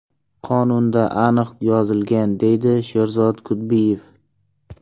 Qonunda aniq yozilgan”, deydi Sherzod Kudbiyev.